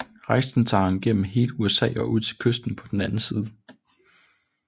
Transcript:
Rejsen tager ham gennem hele USA og ud til kysten på den anden side